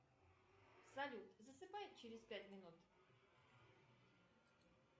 салют засыпай через пять минут